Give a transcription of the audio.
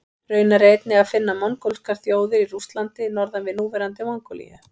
Raunar er einnig að finna mongólskar þjóðir í Rússlandi norðan við núverandi Mongólíu.